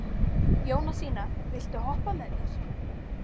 Jónasína, viltu hoppa með mér?